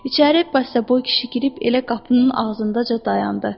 İçəri bəstaboy kişi girib elə qapının ağzındaca dayandı.